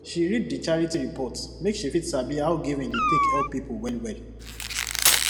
she read di charity report make she fit sabi how giving dey take help people wellwell